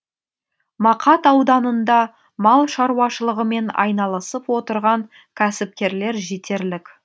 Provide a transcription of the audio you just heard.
мақат ауданында мал шаруашылығымен айналысып отырған кәсіпкерлер жетерлік